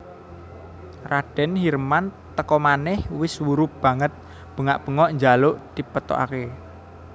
Raden Hirman teka manèh wis wuru banget bengak bengok njaluk dipethokaké